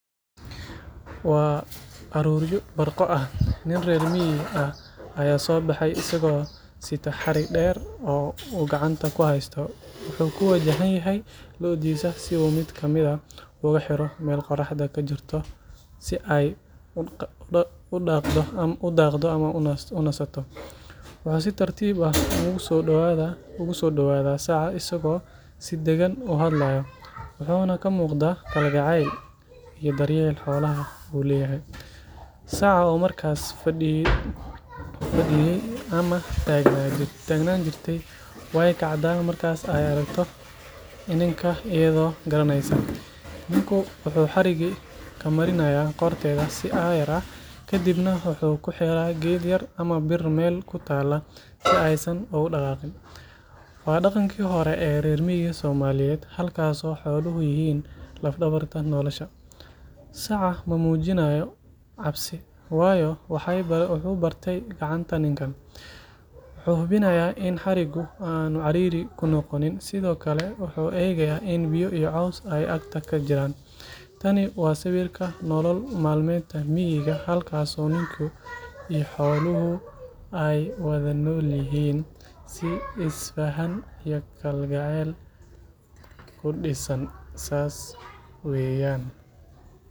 Waa arooryo, nin reer miig ah ayaa soo baxe, wuxuu kuxiri rabaa looda, si tartiib ah ayuu ugu soo dawada, waxaa kamuqada jaceyl iyo daryeel, ayado yaraneysa, xariga ayaa qorta looga xiraayan, waa daqanki hore, saca cabsi maqabo, wuxuu hubinaaya in xariga cariiri kunoqon, waa hab nololeedka nolosha miiga, saas weeyan.